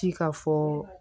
Ci ka fɔ